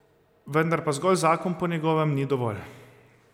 Vendar pa zgolj zakon po njegovem ni dovolj.